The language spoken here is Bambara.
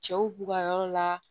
Cɛw b'u ka yɔrɔ la